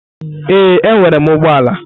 Ee, enwere m ụgbọ ala.